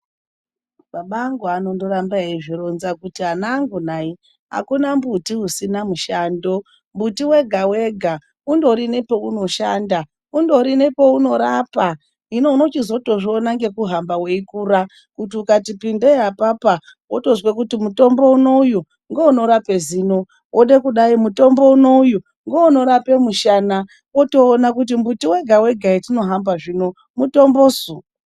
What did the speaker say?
Baba angu anondorambe eizvironza kuti anangu nai, akuna mumbuti usina mushando. Mumbuti wega-wega undori nepaunoshanda, undori nepaunorapa. Hino, unozotozviona ngekuhamba weikura kuti ukati pindeyi apapa, wotozwe kuti mutombo unewu ngeunorape zino. Wode kudai, mutombo unewu ngeunorape mushana. Wotoona kuti mumbuti wega-wega, hetinohamba zvino, mutombosu?